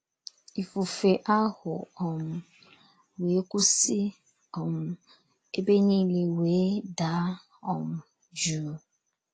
Ifufe ahụ um wee kwụsị um, ebe niile wee daa um jụụ ”